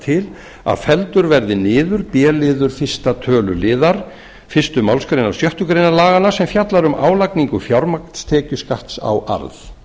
til að felldur verði niður b liður fyrstu tl fyrstu málsgrein sjöttu grein laganna sem fjallar um álagningu fjármagnstekjuskatts á arð